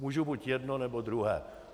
Můžu buď jedno, nebo druhé.